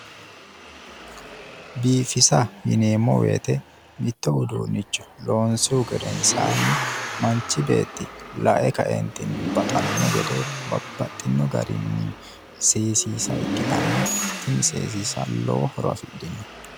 Biifisa yineemmo woyiite mitto uduunnicho loonsihu gedensaanni manchi beetti lae kaeentinni baxanno gede babbaxxinno garinni seesiisa ikkitanna seesiisa lowo horo afidhino.